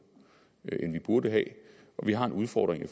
end vi burde have og at vi har en udfordring i